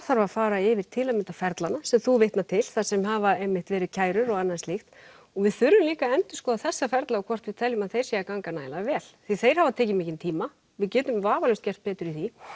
þarf að fara yfir til að mynda ferlana sem þú vitnar til þar sem hafa einmitt verið kærur og annað slítk og við þurfum líka að endurskoða þessa ferla og hvort við teljum að þeir séu að ganga nægilega vel því þeir hafa tekið mikinn tíma við getum vafalaust gert betur í því